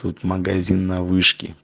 тут магазин на вышке